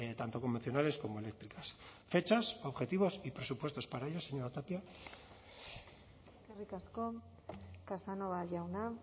tanto convencionales como eléctricas fechas objetivos y presupuestos para ello señora tapia eskerrik asko casanova jauna